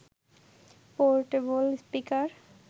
portable speaker